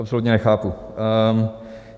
Absolutně nechápu.